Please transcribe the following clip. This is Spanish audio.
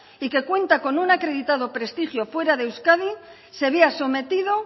y que cuenta con un acreditado prestigio fuera de euskadi se vea sometido